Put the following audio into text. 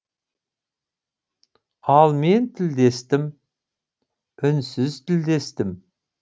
ал мен тілдестім үнсіз тілдестім